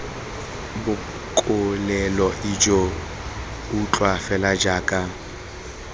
bokolela ijoo utlwa fela jaaka